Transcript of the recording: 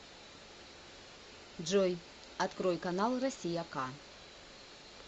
джой открой канал россия к